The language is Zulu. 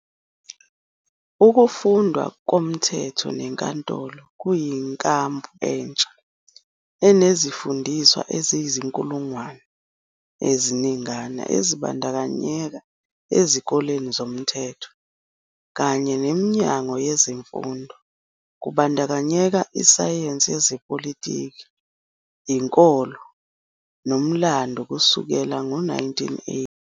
Ukufundwa komthetho nenkolo kuyinkambu entsha, enezifundiswa eziyizinkulungwane eziningana ezibandakanyeka ezikoleni zomthetho, kanye neminyango yezemfundo kubandakanya isayensi yezepolitiki, inkolo nomlando kusukela ngo-1980.